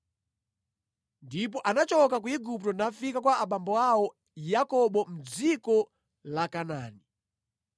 Ndipo anachoka ku Igupto nafika kwa abambo awo Yakobo mʼdziko la Kanaani.